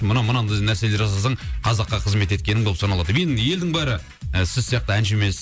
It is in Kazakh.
мына мынандай нәрселер жасасаң қазаққа қызмет еткенің болып саналады деп енді елдің бәрі ы сіз сияқты әнші емес